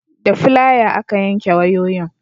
da filaya aka yanke wayoyin